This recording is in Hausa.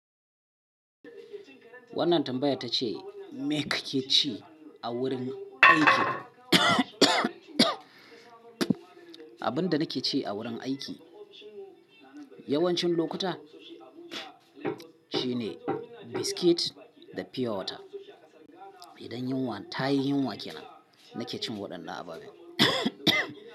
Wannan tambayar ta ce, me ka ke ci a wurin aiki? Abin da nake ci a wurin aiki yawancin lokuta shine biskit da pure water. Idan yunwa, ta yi yunwa ke nan, nake cin waɗannan ababen.